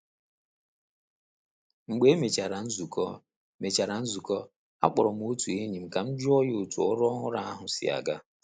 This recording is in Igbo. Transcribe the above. Mgbe e mechara nzukọ mechara nzukọ, akpọrọ m otu enyi m ka m jụọ otú ọrụ ọhụrụ ahụ si aga.